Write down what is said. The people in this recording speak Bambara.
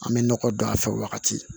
An bɛ nɔgɔ don a fɛ wagati